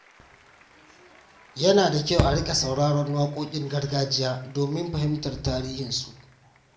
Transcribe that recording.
Yana da kyau a riƙa sauraron waƙoƙin gargajiya domin fahimtar tarihinsu.